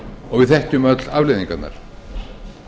og við þekkjum öll afleiðingarnar